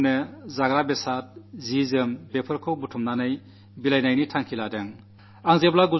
ആവശ്യമുള്ളവർക്ക് ആഹാരസാധനങ്ങൾ വസ്ത്രം എന്നിവ സംഭരിച്ച് എത്തിക്കാനുള്ള നീക്കമാണ്